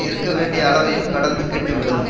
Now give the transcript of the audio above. இருக்க வேண்டிய அளவையும் கடந்து கெட்டு விடும்